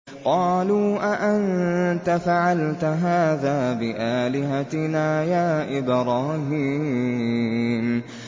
قَالُوا أَأَنتَ فَعَلْتَ هَٰذَا بِآلِهَتِنَا يَا إِبْرَاهِيمُ